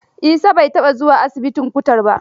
Isa bai taɓa zuwa asibitin kutar ba.